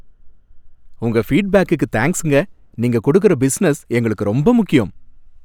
உங்க ஃபீட்பேக்குக்கு தேங்க்ஸ்ங்க, நீங்க குடுக்குற பிசினஸ் எங்களுக்கு ரொம்ப முக்கியம்.